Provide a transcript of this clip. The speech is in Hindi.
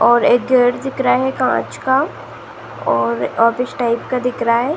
और एक गेट दिख रहा है कांच का और ऑफिस टाइप का दिख रहा है।